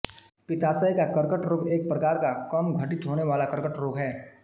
पित्ताशय का कर्कट रोग एक प्रकार का कम घटित होने वाला कर्कट रोग है